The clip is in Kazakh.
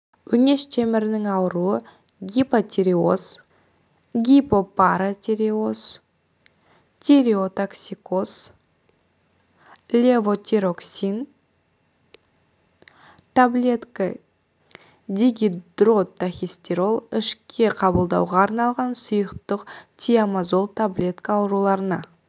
өңеш темірінің ауыруы гипотиреоз гипопаратиреоз тиреотоксикоз левотироксин таблетка дигидротахистерол ішке қабылдауға арналған сұйықтық тиамазол таблетка ауруларына